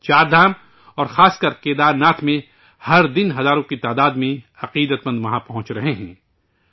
'چار دھام' اور خاص طور پر کیدارناتھ میں ہر دن ہزاروں کی تعداد میں عقیدت مند وہاں پہنچ رہے ہیں